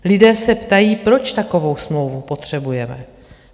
Lidé se ptají, proč takovou smlouvu potřebujeme.